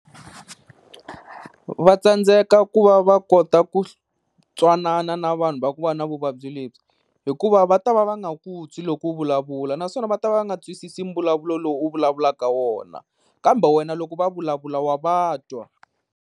Vatsandzeka ku va va kota ku twanana na vanhu va ku va na vuvabyi lebyi, hikuva va ta va va nga ku twi loko u vulavula, naswona va ta va va nga twisisi mbulavulo lowu u vulavulaka wona kambe wena loko va vulavula wa va twa.